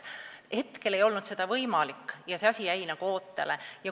Hetkel ei olnud seda võimalik saada ja see asi jäi ootele.